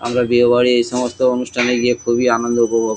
আমরা বিয়ে বাড়ি এই সমস্ত অনুষ্ঠানে গিয়ে খুবই আনন্দ উপভোগ--